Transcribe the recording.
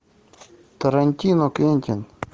тарантино квентин